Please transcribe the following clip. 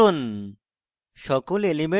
elements মোট সংখ্যা নির্ণয় করুন